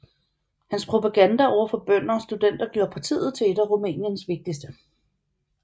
Hans propaganda over for bønder og studenter gjorde partiet til et af Rumæniens vigtigste